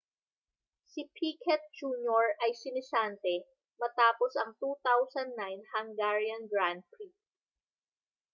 si piquet jr ay sinisante matapos ang 2009 hungarian grand prix